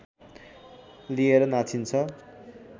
लिएर नाचिन्छ